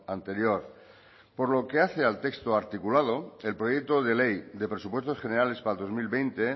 anterior por lo que hace al texto articulado el proyecto de ley de presupuestos generales para el dos mil veinte